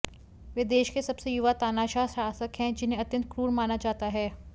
वह देश के सबसे युवा तानाशाह शासक हैं जिन्हें अत्यंत क्रूर माना जाता है